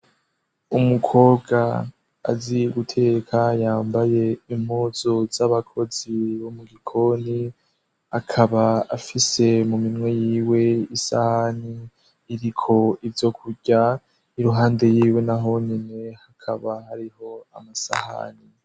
Umukobwa azi guteka yambaye impuzu z'abakozi bo mu gikoni, akaba afise mu minwe yiwe isahani iriko ivyo kurya, iruhande yiwe n'ahonyene hakaba hariho amasahani.